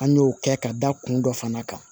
An y'o kɛ ka da kun dɔ fana kan